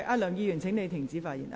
梁議員，請停止發言。